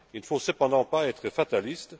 Il ne faut cependant pas être fataliste.